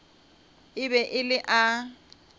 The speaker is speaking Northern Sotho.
e be e le a